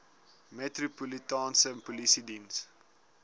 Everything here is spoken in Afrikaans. metropolitaanse polisie diens